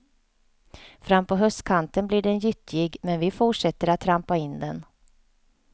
Frampå höstkanten blir den gyttjig men vi fortsätter att trampa in den.